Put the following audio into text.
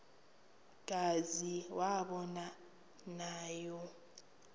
kazi aba nawo